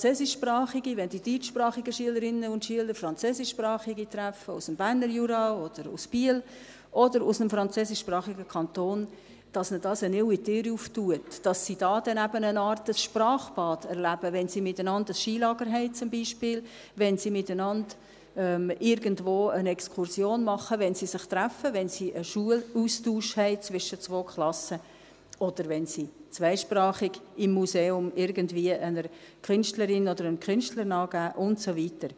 sich ihnen, wenn die deutschsprachigen Schülerinnen und Schüler Französischsprachige aus dem Berner Jura oder aus Biel oder aus einem französischsprachigen Kanton treffen, eine neue Tür öffnet – dass sie dabei dann eben eine Art Sprachbad erleben, wenn sie miteinander beispielsweise ein Skilager haben, wenn sie miteinander irgendwo eine Exkursion machen, wenn sie sich treffen, wenn sie einen Schulaustausch zwischen zwei Klassen haben, oder wenn sie im Museum zweisprachig irgendwie einer Künstlerin oder einem Künstler nachgehen und so weiter.